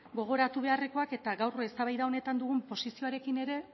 gogoratu beharrekoak eta gaur eztabaida honetan dugun posizioarekin ere